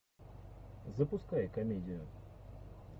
запускай комедию